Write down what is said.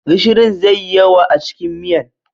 Gishirin zai yi yawa a cikin miyan.